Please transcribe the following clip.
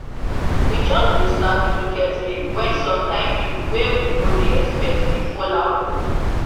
we just dey start the cricket game when some kind people wey we no dey expect dey fall out o